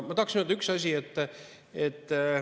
Ma tahaksin öelda ühte asja.